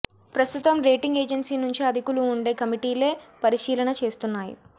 ప్రస్తుతం rating agency నుంచే అధికులు ఉండే కమిటీలే పరిశీలన చేస్తున్నాయి